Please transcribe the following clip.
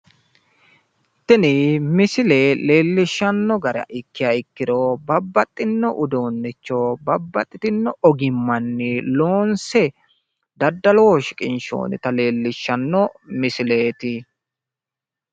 Tini misile leellishshanno gara ikkiha ikkiro babbaxxinno uduunnicho babbaxxinno ogimmanni loonse daddaloho shiqinshoonnita leellishshanno misileeti.